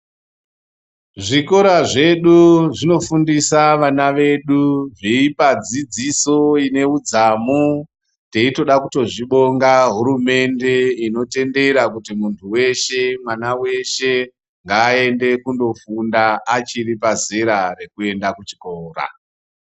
Zvikora zvedu zvino fundisa vana vedu veipa dzidziso ineudzamu teitoda kutozvi bonga hurumente inotendera kuti muntu weshe mwana weshe ngaende kundofunda achiri pazera rekuenda kuchikora